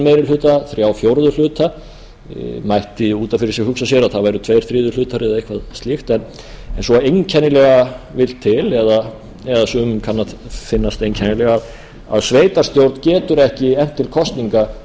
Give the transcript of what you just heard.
meiri hluta þrír fjórðu mætti út af fyrir sig hugsa sér að það væru tveir þriðju eða eitthvað slíkt en svo einkennilega vill til eða sumum kann að finnast einkennilegt að sveitarstjórn getur ekki efnt til kosninga